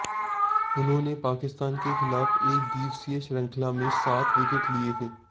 उन्होंने पाकिस्तान के खिलाफ एकदिवसीय श्रृंखला में सात विकेट लिये थे